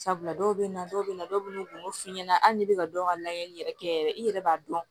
Sabula dɔw bɛ na dɔw bɛ na dɔw bɛ n'u f'i ɲɛna hali n'i bɛ ka dɔw ka layɛli yɛrɛ kɛ yɛrɛ i yɛrɛ b'a dɔn